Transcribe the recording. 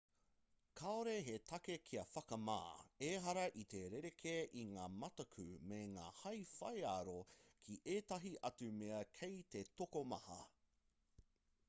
kāore he take kia whakamā ehara i te rerekē i ngā mataku me ngā hae whaiaro ki ētahi atu mea kei te tokomaha